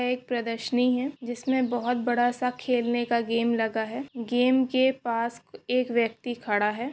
यह एक प्रदशनी है जिसमे बहुत बड़ा सा खेलने का गेम लगा है। गेम के पास एक व्यक्ति खड़ा है।